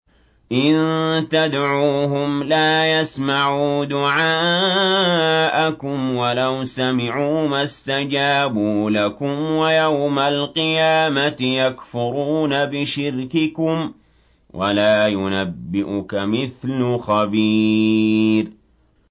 إِن تَدْعُوهُمْ لَا يَسْمَعُوا دُعَاءَكُمْ وَلَوْ سَمِعُوا مَا اسْتَجَابُوا لَكُمْ ۖ وَيَوْمَ الْقِيَامَةِ يَكْفُرُونَ بِشِرْكِكُمْ ۚ وَلَا يُنَبِّئُكَ مِثْلُ خَبِيرٍ